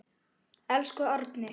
Elsku Árni.